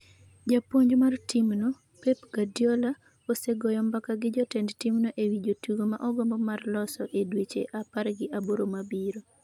Japuonj mar timno, Pep Guardiola, osegoyo mbaka gi jotend timno ewi jotugo ma ogombo mar loso e dweche apar gi aboro mabiro.